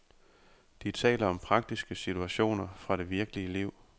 De taler om praktiske situationer fra det virkelige liv.